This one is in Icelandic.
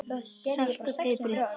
Saltið og piprið.